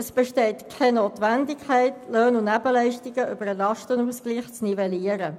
Es besteht keine Notwendigkeit, Löhne und Nebenleistungen über den Lastenausgleich zu nivellieren.